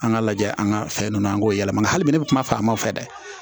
An ka lajɛ an ka fɛn nunnu na an k'o yɛlɛma hali ne bɛ kuma fɛmanw fɛ dɛ